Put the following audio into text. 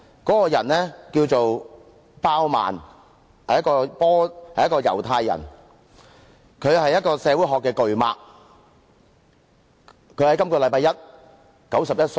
這人名叫鮑曼，是猶太人，他是社會學的巨擘。他在本周一離世，享年91歲。